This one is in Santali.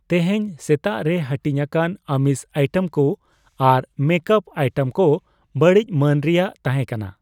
ᱛᱮᱦᱮᱧ ᱥᱮᱛᱟᱜ ᱨᱮ ᱦᱟᱹᱴᱤᱧᱟᱠᱟᱱ ᱟᱹᱢᱤᱥ ᱟᱭᱴᱮᱢ ᱠᱩ ᱟᱨ ᱢᱮᱠᱟᱯ ᱟᱭᱴᱮᱢ ᱠᱩ ᱵᱟᱹᱲᱤᱡ ᱢᱟᱹᱱ ᱨᱮᱭᱟᱜ ᱛᱟᱦᱮᱸᱠᱟᱱᱟ ᱾